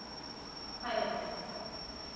kgwebo